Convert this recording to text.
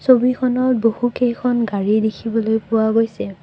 ছবিখনত বহুকেইখন গাড়ী দেখিবলৈ পোৱা গৈছে।